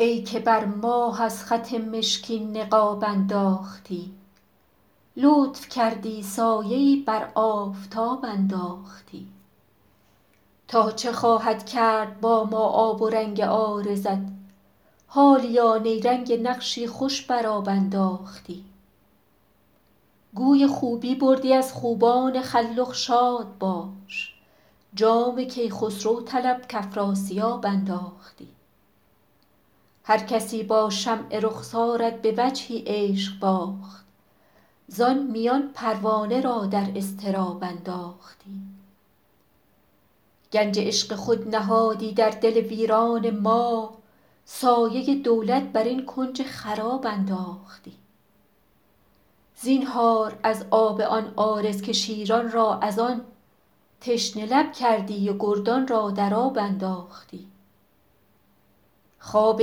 ای که بر ماه از خط مشکین نقاب انداختی لطف کردی سایه ای بر آفتاب انداختی تا چه خواهد کرد با ما آب و رنگ عارضت حالیا نیرنگ نقشی خوش بر آب انداختی گوی خوبی بردی از خوبان خلخ شاد باش جام کیخسرو طلب کافراسیاب انداختی هرکسی با شمع رخسارت به وجهی عشق باخت زان میان پروانه را در اضطراب انداختی گنج عشق خود نهادی در دل ویران ما سایه دولت بر این کنج خراب انداختی زینهار از آب آن عارض که شیران را از آن تشنه لب کردی و گردان را در آب انداختی خواب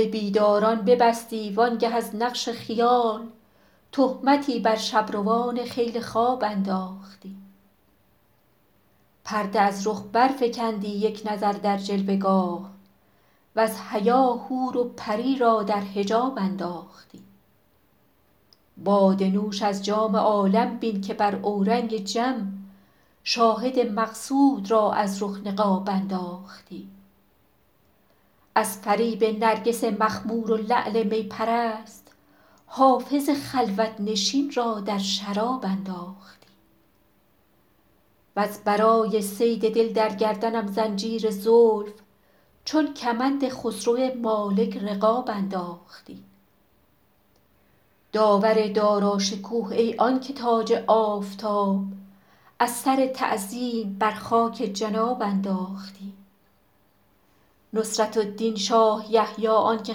بیداران ببستی وآن گه از نقش خیال تهمتی بر شب روان خیل خواب انداختی پرده از رخ برفکندی یک نظر در جلوه گاه وز حیا حور و پری را در حجاب انداختی باده نوش از جام عالم بین که بر اورنگ جم شاهد مقصود را از رخ نقاب انداختی از فریب نرگس مخمور و لعل می پرست حافظ خلوت نشین را در شراب انداختی وز برای صید دل در گردنم زنجیر زلف چون کمند خسرو مالک رقاب انداختی داور داراشکوه ای آن که تاج آفتاب از سر تعظیم بر خاک جناب انداختی نصرة الدین شاه یحیی آن که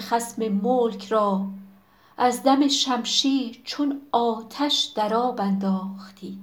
خصم ملک را از دم شمشیر چون آتش در آب انداختی